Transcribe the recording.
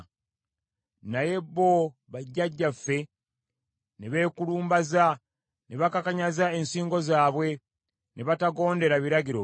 “Naye bo bajjajjaffe ne beekulumbaza ne bakakanyaza ensingo zaabwe ne batagondera biragiro byo.